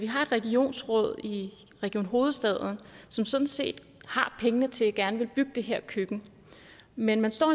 har et regionsråd i region hovedstaden som sådan set har pengene til det og gerne vil bygge det her køkken men man står